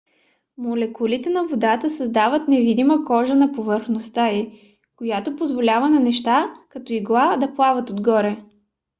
молекулите на водата създават невидима кожа на повърхността ѝ която позволява на неща като иглата да плават отгоре